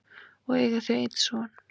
og eiga þau einn son.